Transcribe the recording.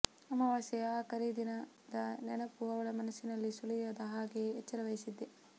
ಅಮವಾಸ್ಯೆಯ ಆ ಕರೀ ದಿನದ ನೆನಪು ಅವಳ ಮನಸ್ಸಿನಲ್ಲಿ ಸುಳಿಯದ ಹಾಗೆ ಎಚ್ಚರ ವಹಿಸಿದ್ದೆ